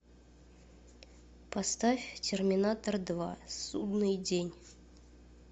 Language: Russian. поставь терминатор два судный день